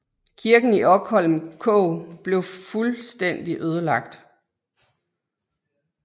Kirken i Okholm kog blev fuldstændig ødelagt